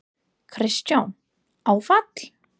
Kristján: Áfall?